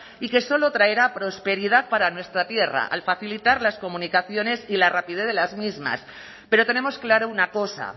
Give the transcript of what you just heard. y que solo traerá prosperidad para nuestra tierra al facilitar las comunicaciones y la rapidez de las mismas pero tenemos clara una cosa